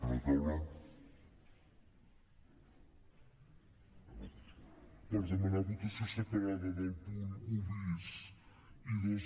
per demanar votació separada del punt un bis i dos